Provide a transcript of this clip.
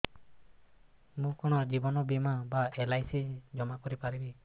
ମୁ କଣ ଜୀବନ ବୀମା ବା ଏଲ୍.ଆଇ.ସି ଜମା କରି ପାରିବି